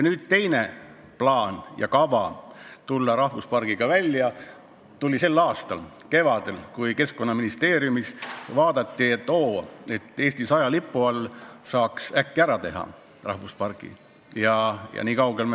Nüüd, teine plaan ja kava tulla rahvuspargiga välja tekkis selle aasta kevadel, kui Keskkonnaministeeriumis vaadati, et Eesti 100 egiidi all saaks äkki pargi ära teha.